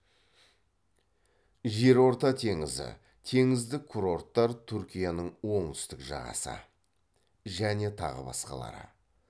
жерорта теңізі теңіздік курорттар түркияның оңтүстік жағасы және тағы басқалар